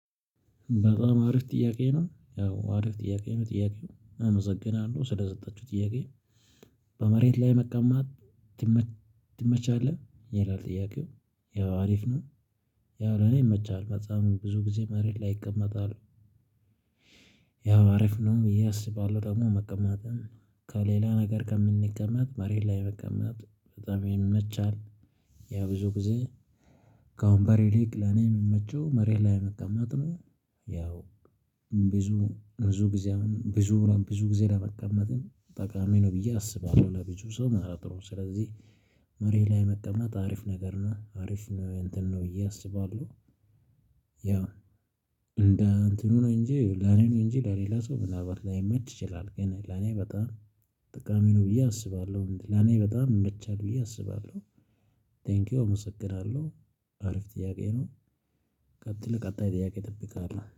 በጣም አሪፍ ጥያቄ ነው ያው አሪፍ ጥያቄ ነው ጥያቄው አመሰግናለሁ ስለሰጠቹኝ ጥያቄ። በመሬት ላይ መቀመት? ይመችሃል ይላል ጥያቄው። ያው አሪፍ ነው። ያው ለኔ ይመቻል በጣም ብዙ ጊዜ መሬት ላይ እቀመጣለሁ ያው አሪፍ ነው ብዬ አስባለሁ። ደግሞ መቀመጥም ከሌላ ነገር ከምንቀመጥ መሬት ላይ መቀመጥ በጣም የሚመቻል ያ ብዙ ጊዜ። ከአሁን በሬ ሊቅ ለኔ የምመቸው መሬት ላይ መቀመጥ ነው። ያው ብዙ ብዙ ጊዜ ብዙ ብዙ ጊዜ ለመቀመጥ ጠቃሚ ነው ብዬ አስባለሁ ለብዙ ሰው ማለት ነው። ስለዚህ መሬት ላይ መጠመጥ አሪፍ ነገር ነው አሪፍ ነው እንትን ነው ብዬ አስባለሁ። እያሰባሉ ያው እንደ እንትኑ ነው እንጂ ላኔ ነው እንጂ ለሌላ ሰው ምናልባት ላይመች ይችላል። ግን ለኔ በጣም ጥቃሚ ነው ብዬ አስባለሁ ለኔ በጣም እመቻለሁ ብዬ አስባለሁ። ቴንኪው እመሰግናለሁ። አሪፍ ጥያቄ ነው። ቀጥል ቀጣይ ጥያቄ ይጠብቃል